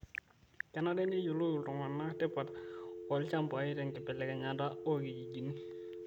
Kenare neyiolou ltung'ana tipat oo lchambai te nkibelekenyata oo lkijijini